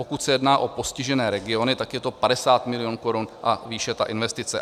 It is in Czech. Pokud se jedná o postižené regiony, tak je to 50 milionů korun a výše, ta investice.